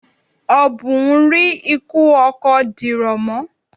Ọ̀bùn rí ikú ọkọ dìrọ̀ mọ́.